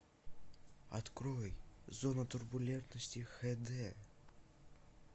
открой зона турбулентности хд